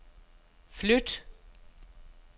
flyt